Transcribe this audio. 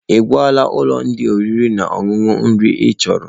Ị gwala ndi ụlọ oriri na ọṅụṅụ nri ị chọrọ?